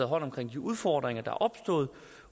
hånd om de udfordringer der er opstået